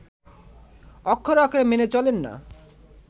অক্ষরে অক্ষরে মেনে চলেন না